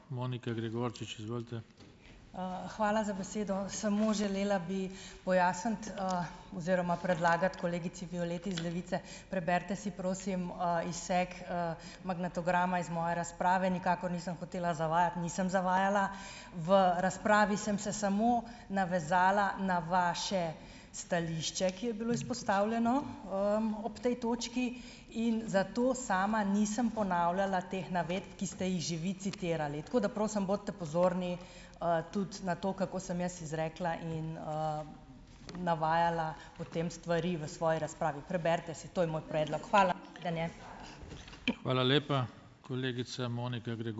Hvala za besedo. Samo želela bi pojasniti, oziroma predlagati kolegici Violeti iz Levice, preberite si, prosim, izsek, magnetograma iz moje razprave. Nikakor nisem hotela zavajati. Nisem zavajala. V razpravi sem se samo navezala na vaše stališče, ki je bilo izpostavljeno, ob tej točki in zato sama nisem ponavljala teh navedb, ki ste jih že vi citirali, tako da, prosim, bodite pozorni, tudi na to, kako sem jaz izrekla in, navajala potem stvari v svoji razpravi. Preberite si, to je moj predlog. Hvala.